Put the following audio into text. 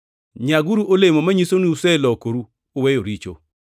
Nyaguru olemo manyiso ni uselokoru uweyo richo.